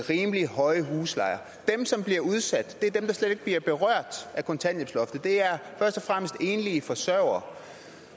rimelig høje huslejer dem som bliver udsat er dem der slet ikke bliver berørt af kontanthjælpsloftet det er først og fremmest enlige forsørgere